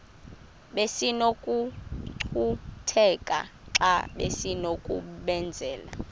besinokucutheka xa besinokubenzela